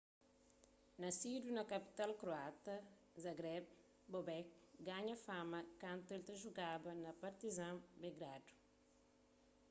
nasidu na kapital kroata zagreb bobek ganha fama kantu el ta jugaba pa partizan belgradu